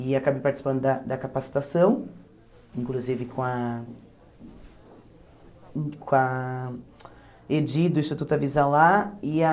E acabei participando da da capacitação, inclusive com a... com a Edi do Instituto Avisa Lá e a...